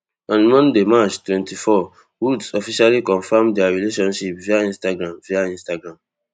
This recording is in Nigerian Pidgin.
on monday march twenty-four woods officially confam dia relationship via instagram via instagram